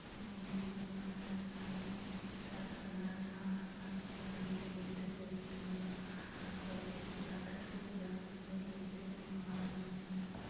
এবং বিভিন্ন ধরনের গাড়ি রাস্তার ধারে দাড়াই আছে। গাড়িগুলি দেখতে খুবই সুন্দর আর কয়েকটি ফ্লাট আছে ফ্লাট -গুলিও দেখতে খুব ভালো লাগছিল।